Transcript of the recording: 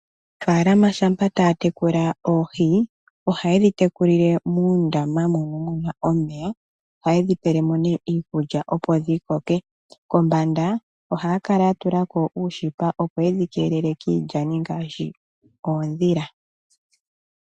Aanafaalama shampa taya tekula oohi oha yedhi tekulile muundama mono muna omeya, ohaya kala tayedhi pelemo Iikulya opo dhikoke kombanda ohaya kala yatulako ooshipa opo yedhi keelele kiilyani ngaashi uudhila.